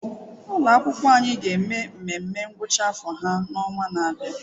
Ụlọ akwụkwọ anyị ga-eme nmenme ngwụcha afọ ha n'ọnwa na-abịa.